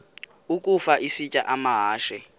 ukafa isitya amahashe